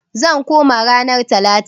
Zan koma ranar talata.